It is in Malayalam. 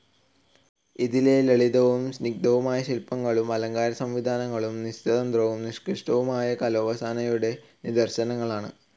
ഇതിലെ ലളിതവും സ്നിഗ്ധവും ആയ ശില്പങ്ങളും അലങ്കാരസംവിധാനങ്ങളും നിസ്തന്ദ്രവും നിഷ്കൃഷ്ടവുമായ കലോപാസനയുടെ നിദർശനങ്ങളാണ്.